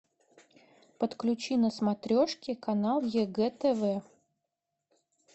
подключи на смотрешке канал егэ тв